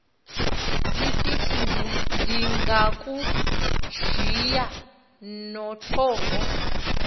lisithi ndingakujiya nothovo